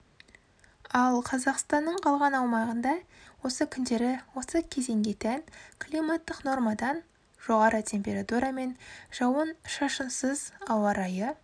ал қазақстанның қалған аумағында осы күндері осы кезеңге тән климаттық нормадан жоғары температурамен жауын-шашынсыз ауа райы